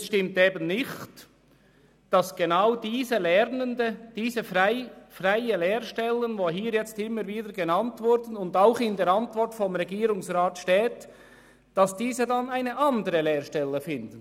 Es stimmt eben nicht, dass genau diese Lernenden die freien Lehrstellen annehmen können, wie sie immer wieder genannt und auch in der Antwort des Regierungsrats erwähnt werden.